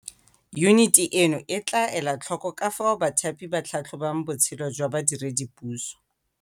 Yuniti eno e tla ela tlhoko ka fao bathapi ba tlhatlhobang botshelo jwa badiredipuso.